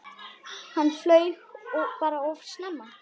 Hann flaug bara of snemma.